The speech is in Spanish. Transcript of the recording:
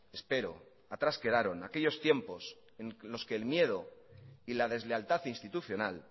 espero aquellos tiempos en los que el miedo y la deslealtad institucional